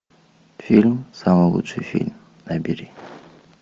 фильм самый лучший фильм набери